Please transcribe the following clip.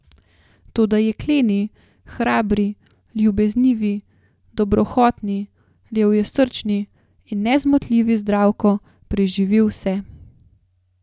Toda jekleni, hrabri, ljubeznivi, dobrohotni, levjesrčni in nezmotljivi Zdravko preživi vse.